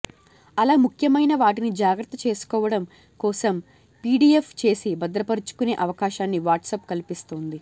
అలా ముఖ్యమైన వాటిని జాగ్రత్త చేసుకోవడం కోసం పీడిఎఫ్ చేసి భద్రపర్చుకునే అవకాశాన్ని వాట్సప్ కల్పిస్తోంది